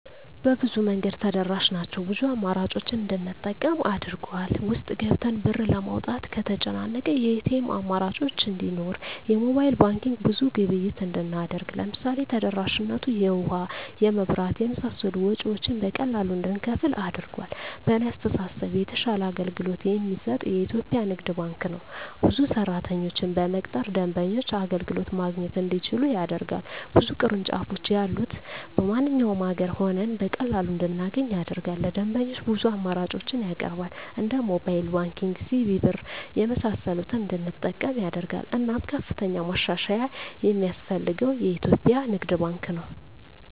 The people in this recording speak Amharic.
በብዙ መንገድ ተደራሽ ናቸው ብዙ አማራጮችን እንድንጠቀም አድርጎል። ውስጥ ገብተን ብር ለማውጣት ከተጨናነቀ የኤቲኤም አማራጮች እንዲኖር የሞባይል ባንኪንግ ብዙ ግብይት እንድናደርግ ለምሳሌ ተደራሽነቱ የውሀ, የመብራት የመሳሰሉ ወጭወችን በቀላሉ እንድንከፍል አድርጓል። በእኔ አስተሳሰብ የተሻለ አገልግሎት የሚሰጥ የኢትዪጵያ ንግድ ባንክ ነው። ብዙ ሰራተኞችን በመቅጠር ደንበኞች አገልግሎት ማግኘት እንዲችሉ ያደርጋል። ብዙ ቅርንጫፎች ያሉት በማንኛውም አገር ሆነን በቀላሉ እንድናገኝ ያደርጋል። ለደንበኞች ብዙ አማራጮችን ያቀርባል እንደ ሞባይል ባንኪንግ, ሲቢኢ ብር , የመሳሰሉትን እንድንጠቀም ያደርጋል። እናም ከፍተኛ ማሻሻያ የማስፈልገው የኢትዮጵያ ንግድ ባንክ ነው።